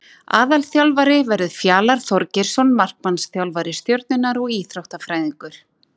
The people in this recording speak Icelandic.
Aðalþjálfari verður Fjalar Þorgeirsson markmannsþjálfari Stjörnunnar og Íþróttafræðingur.